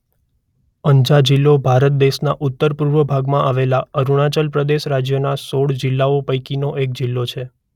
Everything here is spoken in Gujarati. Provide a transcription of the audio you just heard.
અંજા જિલ્લો ભારત દેશના ઉત્તર - પૂર્વ ભાગમાં આવેલા અરુણાચલ પ્રદેશ રાજ્યના સોળ જિલ્લાઓ પૈકીનો એક જિલ્લો છે.